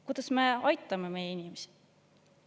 Kuidas me aitame meie inimesi?